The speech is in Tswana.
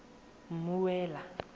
mmuela